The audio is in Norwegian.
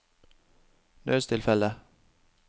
nødstilfelle